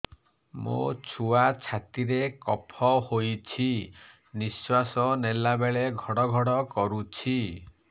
ମୋ ଛୁଆ ଛାତି ରେ କଫ ହୋଇଛି ନିଶ୍ୱାସ ନେଲା ବେଳେ ଘଡ ଘଡ କରୁଛି